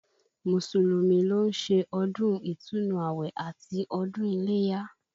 Mùsùlùmí ló ń ṣe ọdún ìtúnu àwẹ̀ àti ọdún iléyá